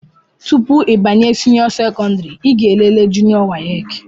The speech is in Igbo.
Tụpụ ịbanye senio sekondari i ga-elele junió wace.